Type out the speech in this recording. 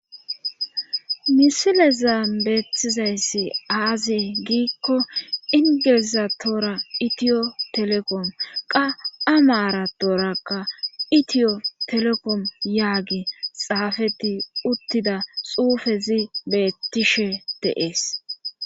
Misile zaambeetizayssi aazi giikko ingilizatoora itiyo telekom qa amaara doorakka itiyo telekom yaagi xaafeti uttida xuufezi bettishe deees.